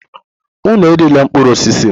Unu erila mkpụrụ osisi m!